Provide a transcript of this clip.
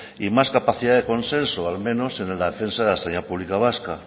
y más capacidad de consenso al menos en el acceso a la enseñanza pública vasca